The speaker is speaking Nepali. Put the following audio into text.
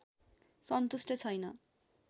सन्तुष्ट छैन